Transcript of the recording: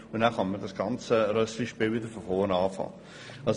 Und dann kann man das ganze «Rösslispiel» von vorn anfangen.